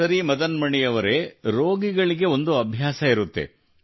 ಸರಿ ಮದನ್ ಮಣಿ ಅವರೆ ರೋಗಿಗಳಿಗೆ ಒಂದು ಅಭ್ಯಾಸವಿರುತ್ತದೆ